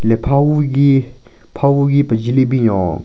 Hile pha hugi pha hugi pejhe le binyon.